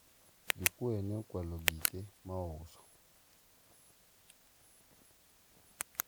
jokuoye ne okwalo gike ma ouso